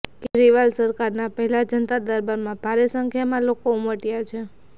કેજરીવાલ સરકારના પહેલા જનતા દરબારમાં ભારે સંખ્યામાં લોકો ઉમટ્યાછે